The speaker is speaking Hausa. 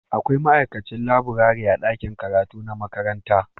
Akwai ma'aikacin laburare a ɗakin karatu na makaranta